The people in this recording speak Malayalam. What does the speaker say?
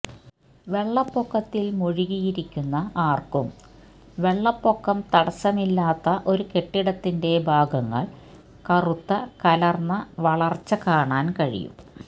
വെള്ളപ്പൊക്കത്തിൽ മുഴുകിയിരിക്കുന്ന ആർക്കും വെള്ളപ്പൊക്കം തടസ്സമില്ലാത്ത ഒരു കെട്ടിടത്തിന്റെ ഭാഗങ്ങൾ കറുത്ത കലർന്ന വളർച്ച കാണാൻ കഴിയും